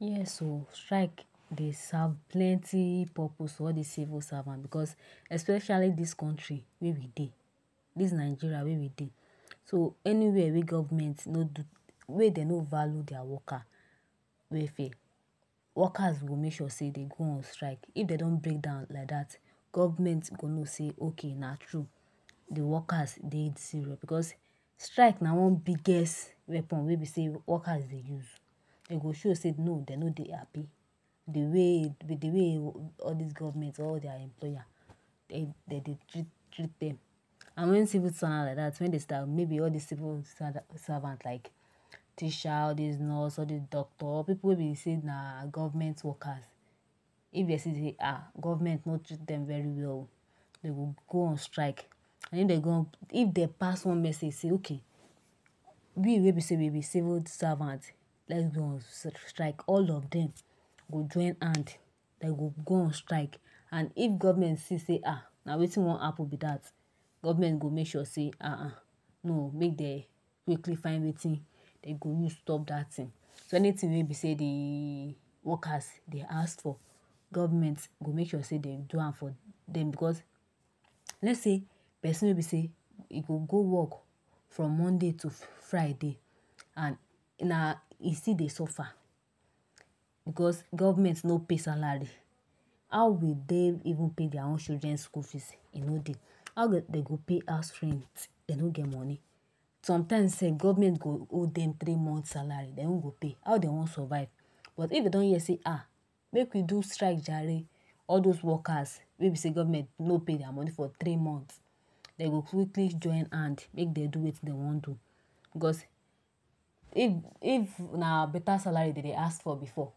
Yes oh strike dey serve plenty purpose for all this civil servant because especially this country wey we dey this Nigeria wey we dey so anywhere wey government no do wey dem no value theirs worker welfare workers go make sure say dem go on strike if dem no break down like that government no go know say okay na true the workers dey serious because strike na one biggest weapon wey be say workers dey use dem go show say no dem no dey happy with the way all this government all their employer dem dey treat treat dem and wen civil servant like that wen dey start maybe all this civil servant like teacher all this nurse all this doctor or people wey be say na government workers if dem see ah government no treat dem very well dem go go on strike and if dem go on and if dem pass one message say okay we wey be say we be civil servant let’s go on strike all of dem go join hand dem go go on strike and if government see say ah na wetin wan happen be that government go make sure say ahah no oo make dem make we find wetin dem go use stop that thing so anything wey be say the workers dey ask for government go make sure say dem do am for dem because let’s say person wey be say e go go work from Monday to Friday and na e still dey suffer because government no pay salary how will they even pay their own children school fees e no dey how dem go pay house rent dem no get money sometimes sef government go owe dem three months salary dem no go pay dem how dem wan survive but if dem don hear say ah make we do strike jare all those workers wey be say government no pay their money for three months dem go quickly join hands make dem do wetin dem wan do because if if na better salary dem dey ask for before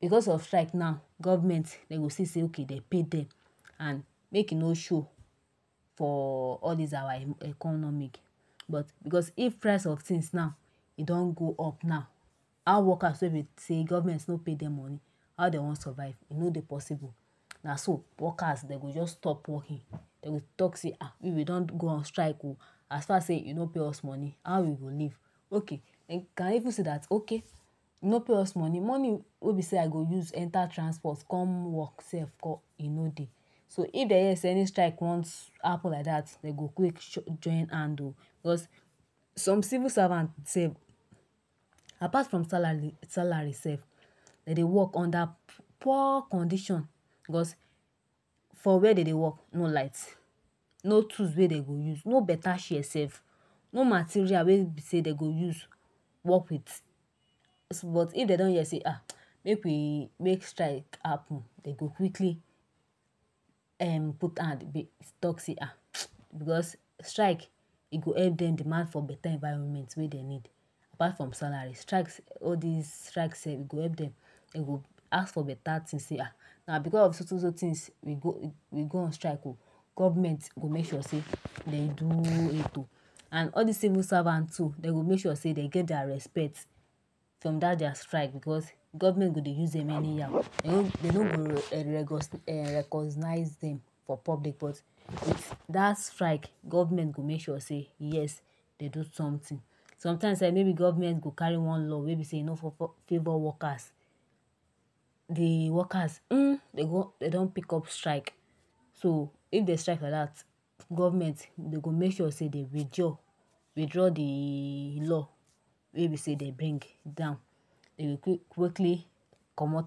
because of strike now government dem go see say okay dem go pay dem and make e no show for all this our economic because if price and f things now e don go up now how workers take say dey say government never pay dem money how dem wan survive e no dey possible na so workers dem go just stop working dem go talk say ah we we don go on strike oh as far as say you no pay us money how we go make okay dey can even say that okay you no pay us money money wey be say I go use enter transport come work sef nko e no dey so if dem hear say any strike wan happen Ike that dem go go join hand oh because some civil servant sef apart from salary salary sef dem dey work under poor condition because for where dem dey work no light no tools wey dem dem go use no better chair sef no material wey be say dem go use work with but if dem don here say AHH make we make strike happen dem go quickly put hand talk say ah because strike sef e go help dem demand for better environment wey dem need apart from salary strike all this strike sef e go help dem dem go ask for better things say ah na because of so so so things we go on strike oo government go make sure say dem do it oh and all this civil servant too dem go make sure say dem get their respect from that their strike because government go dey use dem anyhow dem no go erm recognise dem for public but with that strike government go make sure say yes dem do something sometimes sef maybe government go carry one law wey be say e no favour worker the workers hmm if dem don pick up strike so if dem strike like that government dem go make sure say dem withdraw withdraw the law wey be say dem bring down dem go quickly comot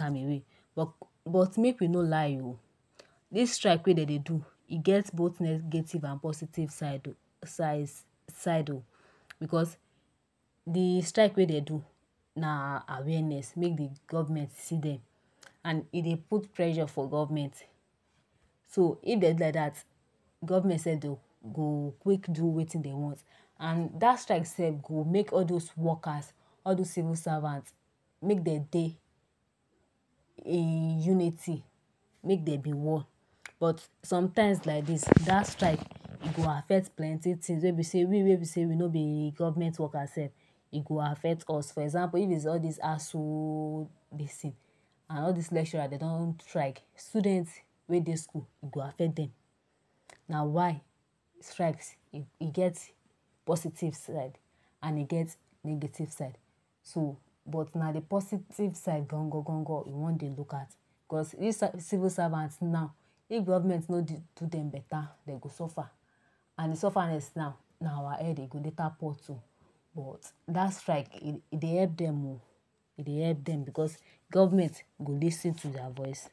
am away but make we no lie oh this strike wey dem dey do e get both negative and positive side of sides side oo because the strike wey dem do na awareness make the government see dem and e dey put pressure for government so if dem do like that government go quick do wetin dem want and that strike sef go make all those workers all those civil servants make dem dey in unity make dem be one but sometimes like this that strike e go affect plenty things wey be say we wey be say we no be government workers sef e go affect us for example if it’s all Thai ASUU dis thing and all this lecturers dem don go strike students wey dey school e go affect dem na why strike e get positive side and e get negative side so bit na the positive side gangan we wan dey look at because if civil servant now if government no do dem better dem go suffer and the sufferness now na our head e go later pour to but that strike w dey help dem o e dey help dem because government go lis ten to their voice